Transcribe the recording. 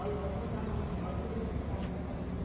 Olha, vai cortar a mão, não vai poder tocar aquela coisa.